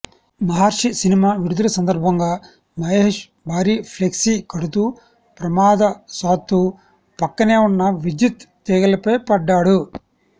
మహర్షి cinema విడుదల సందర్భంగా మహేశ్ భారీ ఫ్లెక్సీ కడుతూ ప్రమాదశాత్తు పక్కనే ఉన్న విద్యుత్ తీగలపై పడ్డాడు